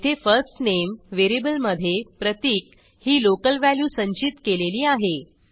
येथे first name variable मधे प्रतीक ही लोकल व्हॅल्यू संचित केलेली आहे